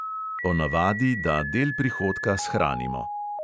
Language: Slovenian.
O navadi, da del prihodka shranimo.